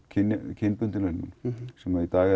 kynbundinn launamun sem er í dag